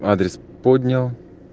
адрес поднял